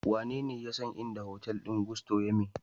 Wanene ya san inda hotel din Gusto yame?